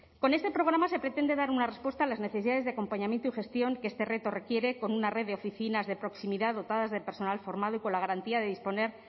con este programa se pretende dar una respuesta a las necesidades de acompañamiento y gestión que este reto requiere con una red de oficinas de proximidad dotadas de personal formado y con la garantía de disponer